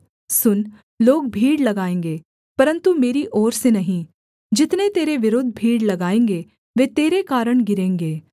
सुन लोग भीड़ लगाएँगे परन्तु मेरी ओर से नहीं जितने तेरे विरुद्ध भीड़ लगाएँगे वे तेरे कारण गिरेंगे